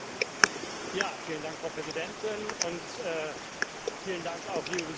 Frau Präsidentin! Vielen Dank, liebe Besucher, dass Sie hier sind.